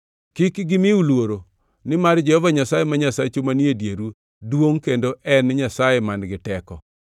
Kik gimiu luoro nimar Jehova Nyasaye ma Nyasachu manie dieru duongʼ kendo en Nyasaye man-gi teko.